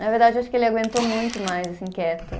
Na verdade, acho que ele aguentou muito mais, assim, quieto.